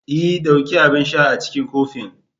E! dauki abin sha a cikin kofin.